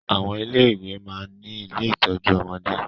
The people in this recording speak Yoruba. Àwọn ilé ìwé máa ń ní ilé ìtọ́jú ọmọdé